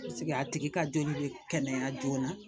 a tigi ka joli bɛ kɛnɛya joona